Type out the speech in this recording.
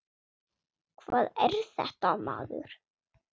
Hvað er þetta, maður?